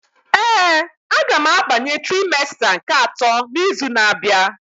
Ee, a ga m abanye trimesta nke atọ n'izu na-abịa.